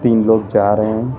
तीन लोग जा रहे हैं।